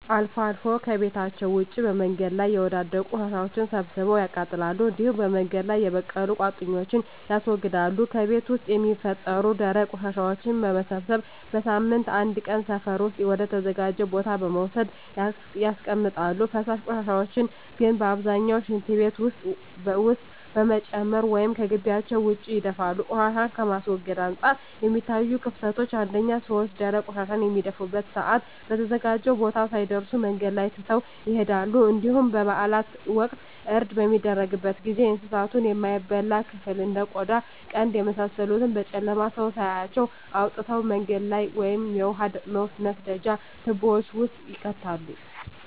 አልፎ አልፎ ከቤታቸዉ ውጭ በመንገድ ላይ የወዳደቁ ቆሻሻወችን ሰብስበው ያቃጥላሉ እንዲሁም በመንገድ ላይ የበቀሉ ቁጥቋጦወችን ያስወግዳሉ። ከቤት ውስጥ የሚፈጠሩ ደረቅ ቆሻሻወችን በመሰብሰብ በሳምንት አንድ ቀን ሰፈር ውስጥ ወደ ተዘጋጀ ቦታ በመውሰድ ያስቀምጣሉ። ፈሳሽ ቆሻሻን ግን በአብዛኛው ሽንት ቤት ውስጥ በመጨመር ወይም ከጊቢያቸው ውጭ ይደፋሉ። ቆሻሻን ከማስወገድ አንፃር የሚታዩት ክፍተቶች አንደኛ ሰወች ደረቅ ቆሻሻን በሚደፉበት ሰአት በተዘጋጀው ቦታ ሳይደርሱ መንገድ ላይ ትተው ይሄዳሉ እንዲሁም በበአላት ወቅት እርድ በሚደረግበት ጊዜ የእንሳቱን የማይበላ ክፍል እንደ ቆዳ ቀንድ የመሳሰሉትን በጨለማ ሰው ሳያያቸው አውጥተው መንገድ ላይ ወይም የውሃ መስደጃ ትቦወች ውስጥ ይከታሉ።